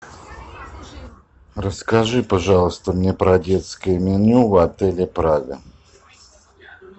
расскажи пожалуйста мне про детское меню в отеле прага